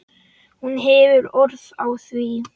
Hún hefur orð á því.